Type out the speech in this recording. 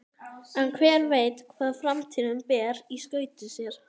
En hver veit hvað framtíðin ber í skauti sér?